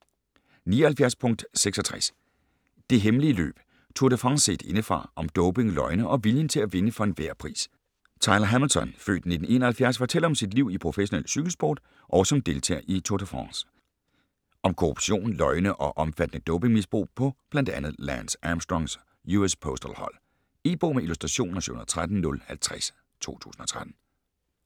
79.66 Det hemmelige løb: Tour de France set indefra - om doping, løgne og viljen til at vinde for enhver pris Tyler Hamilton (f. 1971) fortæller om sit liv i professionel cykelsport og som deltager i Tour de France. Om korruption, løgne og omfattende dopingmisbrug på blandt andet Lance Armstrongs US Postal hold. E-bog med illustrationer 713050 2013.